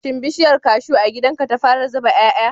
Shin bishiyar cashew a gidan ka ta fara zuba 'ya'ya?